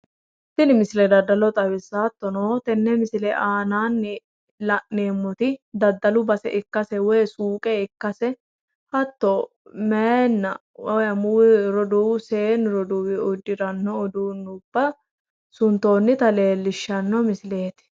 Tini misile daddalo xawissawo. hattono teenne misile aanaanninla'neemmoti daddalu base ikkase woyi suuqe ikkase hatto meyanna amuwu roduuwu seennu roduuwi uddiranno uduunne suntoonnita leellishshanno misileeti.